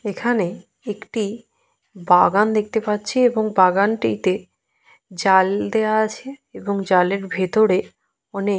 এখানে একটি বাগান দেখতে পাচ্ছি এবং বাগানটিতে জাল দেওয়া আছে এবং জালের ভেতরে অনেক --